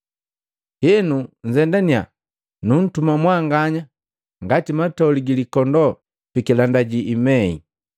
Henu nnzendaniya, nuntuma mwanganya ngati matoli gi likondoo pikilanda jiimei.